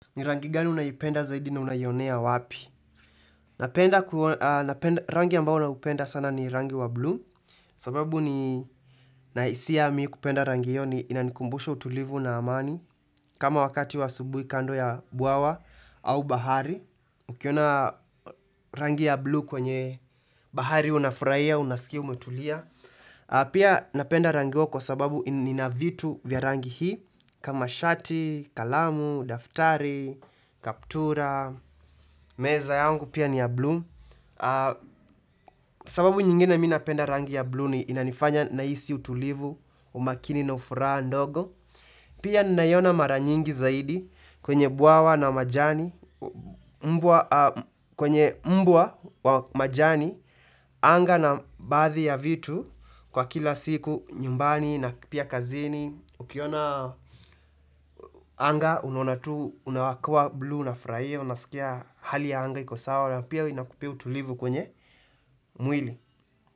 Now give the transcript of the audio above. Ni rangi gani unayoipenda zaidi na unaionea wapi? Rangi ambao naupenda sana ni rangi wa blue sababu ninahisia mi kupenda rangi hiyo ni inanikumbusha utulivu na amani kama wakati wa asubuhi kando ya bwawa au bahari Ukiona rangi ya blue kwenye bahari unafurahia, unasikia umetulia pia napenda rangi hiyo kwa sababu nina vitu vya rangi hii kama shati, kalamu, daftari, kaptura, meza yangu pia ni ya bluu sababu nyingine mi napenda rangi ya bluu ni inanifanya nahisi utulivu, umakini na ufuraha ndogo Pia ninaiona mara nyingi zaidi kwenye bwawa na majani kwenye mbwa wa majani, anga na baadhi ya vitu kwa kila siku nyumbani na pia kazini Ukiona anga unawakua blue unafurahia Unasikia hali ya anga iko sawa na pia inakupea tulivu kwenye mwili.